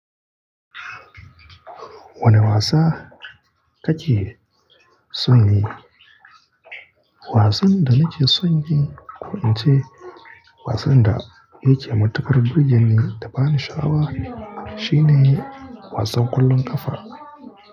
Wane wasa kake son yi? Wasan da nake son yi, ko in ce wasan da yake matuƙar burge ni da bani sha'awa shine wasan ƙwallon ƙafa.